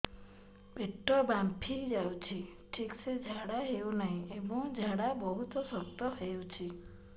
ପେଟ ଫାମ୍ପି ଯାଉଛି ଠିକ ସେ ଝାଡା ହେଉନାହିଁ ଏବଂ ଝାଡା ବହୁତ ଶକ୍ତ ହେଉଛି